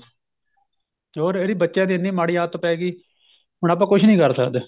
ਹੋਰ ਇਹਦੀ ਬੱਚਿਆਂ ਦੀ ਇੰਨੀ ਮਾੜੀ ਆਦਤ ਪੈਗੀ ਹੁਣ ਆਪਾਂ ਕੁੱਝ ਨੀਂ ਕਰ ਸਕਦੇ